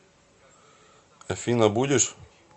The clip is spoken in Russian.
афина будешь